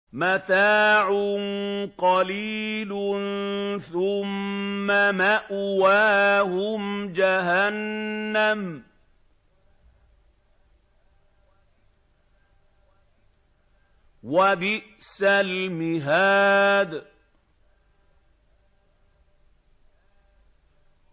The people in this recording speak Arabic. مَتَاعٌ قَلِيلٌ ثُمَّ مَأْوَاهُمْ جَهَنَّمُ ۚ وَبِئْسَ الْمِهَادُ